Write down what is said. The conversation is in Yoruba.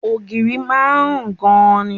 Ògiri a máa rùn gan-an ni